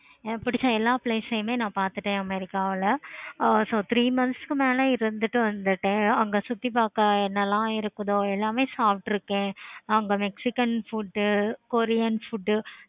எனக்கு புடிச்ச எல்லா place ளையும் பார்த்துட்டேன் america ல ஆஹ் so three months க்கு மேல இருந்துட்டு வந்துட்டேன். அங்க சுத்தி பார்க்க என்னால இருக்குதோ எல்லாமே சாப்பிட்டுருக்கேன். அங்க mexican food, korean food